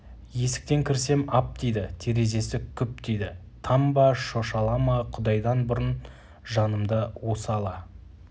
есіктен кірсем ап дейді терезесі күп дейді там ба шошала ма құдайдан бұрын жанымды осы ала